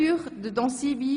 André Zurbuchen (d)